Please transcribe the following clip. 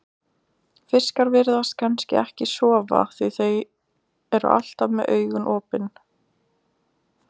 Fiskar virðast kannski ekki sofa því þeir eru alltaf með augun opin.